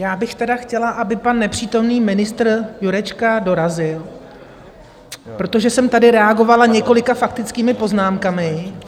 Já bych tedy chtěla, aby pan nepřítomný ministr Jurečka dorazil, protože jsem tady reagovala několika faktickými poznámkami.